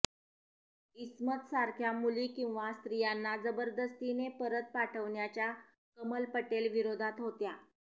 इस्मतसारख्या मुली किंवा स्त्रियांना जबरदस्तीने परत पाठवण्याच्या कमल पटेल विरोधात होत्या